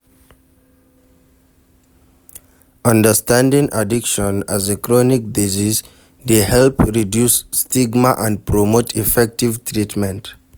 Understanding addiction as a chronic disease dey help reduce stigma and promote effective treatment.